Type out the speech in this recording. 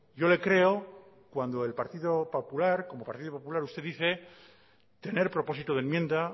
yo le creo cuando el partido popular como partido popular usted dice tener propósito de enmienda